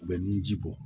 U bɛ nun ji bɔ